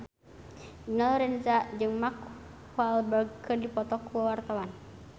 Dina Lorenza jeung Mark Walberg keur dipoto ku wartawan